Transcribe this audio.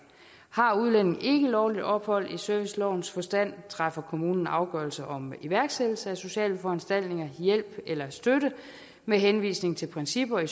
har udlændingen ikke lovligt ophold i servicelovens forstand træffer kommunen afgørelse om iværksættelse af sociale foranstaltninger hjælp eller støtte med henvisning til principper i